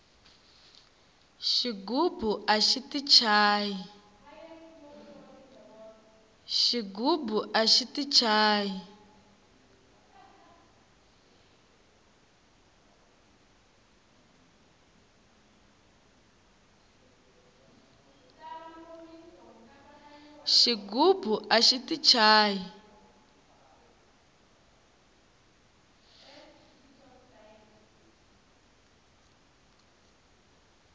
xigubu axi ti chayi